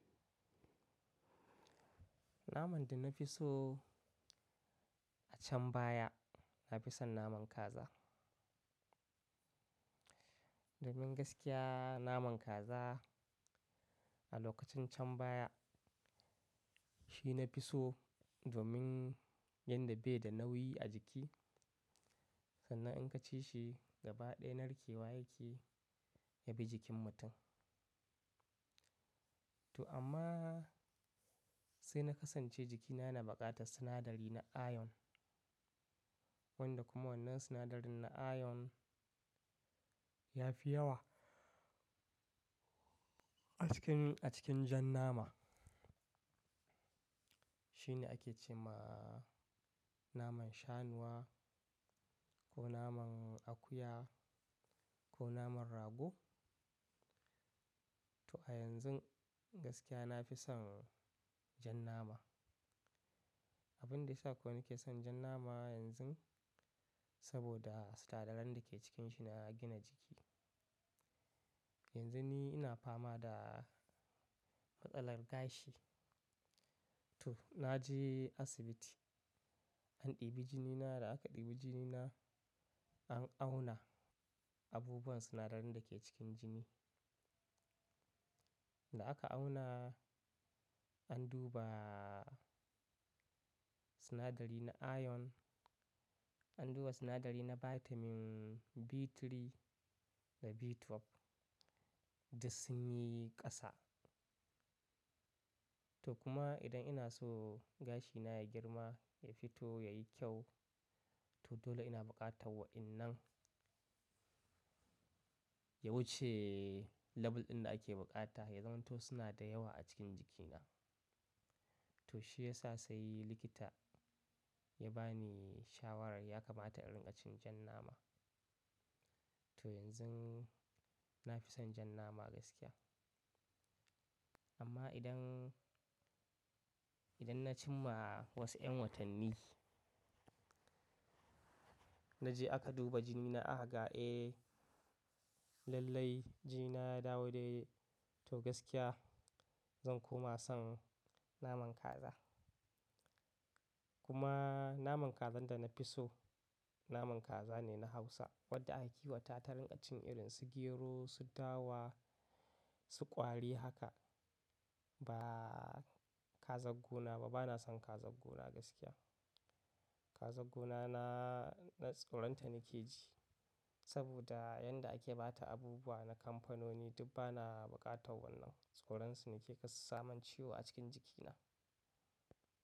Naman da na fi so a can baya na fi son naman kaza. Domin gaskiya naman kaza a lokacin can baya shi na fi so, domin yadda bai da nauyi a jiki, sannan in ka ci shi gaba ɗaya narkewa yake, ya bi jikin mutum. To amma, sai na kasance jikina yana buƙatar sinadari na iron, wanda kuma wannan sinadarin na iron ya fi yawa, a cikin, a cikin jan nama. Shi ne ake ce ma, naman shanuwa, ko naman akuya ko naman rago, to a yanzun, gaskiya na fi son jan nama. Abin da ya sa ko in ke son jan nama yanzun, saboda sinadaran da ke cikinshi na gina jiki. Yanzu ni ina fama da matsalar gashi. To, na je asibiti, an ɗibi jinina, da aka ɗibi jinina, an auna, abubuwan sinadarin da ke cikin jini. Da aka auna, an duba sinadari na iron, an duba sinadari na Vitamin B3, da B12 da sun yi ƙasa. To kuma idan ina so gashina ya girma, ya fito, ya yi kyau, to dole ina buƙatan waƴannan, ya wuce label ɗin da ake buƙata, ya zamanto suna da yawa a cikin jikina. To shi ya sa sai likita, ya ba ni shawarar ya kamata in riƙa cin jan nama. To yanzu na fi son jan nama gaskiya. Amma idan, idan na cim ma wasu ƴan watanni, na je aka duba jini na aka ga eh, lallai jinina ya dawo dai-daii, to gaskiya, zan koma son naman kaza. Kuma naman kazar da na fi so, naman kaza ne na Hausa, wadda ake ki wa ta tarin ƙacin irin su gero, su dawa, su ƙwari haka, ba kazar gona ba, bana son kazar gona gaskiya. Kazar gona na, na tsoron ta nake ji, saboda yanda ake ba ta abubuwa na kamfanoni duk bana buƙatan wannan. Tsoron su nake kar su samin ciwo a cikin jikina.